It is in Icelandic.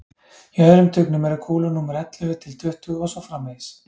í öðrum tugnum eru kúlur númer ellefu til tuttugu og svo framvegis